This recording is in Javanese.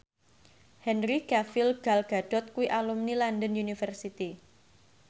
Henry Cavill Gal Gadot kuwi alumni London University